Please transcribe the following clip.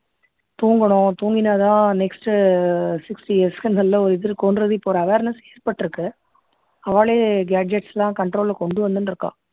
தூங்கணும் தூங்கினா தான next uh ah sixty years க்கு நல்ல ஒரு இது இருக்கும்றது ஒரு awareness ஏற்பட்டிருக்கு அவாளே gadgets எல்லாம் control ல கொண்டு வந்துண்டு இருக்கா